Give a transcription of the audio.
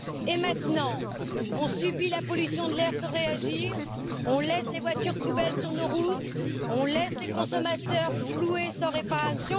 Et maintenant, nous subissons la pollution de l'air sans réagir, nous laissons les voitures poubelles sur nos routes, nous laissons les consommateurs floués sans réparation.